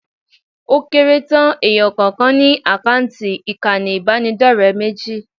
Ó kéré tán èèyàn kọ̀ọ̀kan ni tó àkáǹtì ìkànnì ìbánidọ́rẹ̀ẹ́ méjì